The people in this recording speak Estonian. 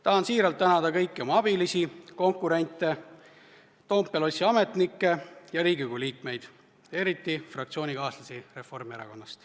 Tahan siiralt tänada kõiki oma abilisi, konkurente, Toompea lossi ametnikke ja Riigikogu liikmeid, eriti fraktsioonikaaslasi Reformierakonnast.